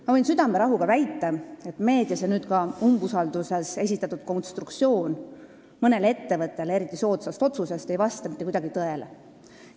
Ma võin südamerahuga väita, et meedias ja nüüd ka umbusaldusavalduses esitatud konstruktsioon mõnele ettevõttele eriti soodsast otsusest ei vasta mitte kuidagi tõele.